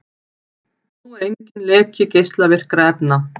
Nú er enginn leki geislavirkra efna